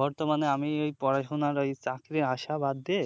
বর্তমানে আমি এই পড়াশুনার ওই চাকরির আশা বাদ দিয়ে